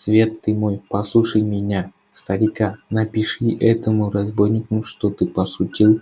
свет ты мой послушай меня старика напиши этому разбойнику что ты пошутил